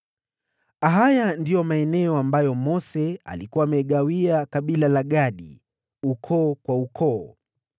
Haya ndiyo maeneo ambayo Mose alikuwa amewapa kabila la Gadi, ukoo kwa ukoo: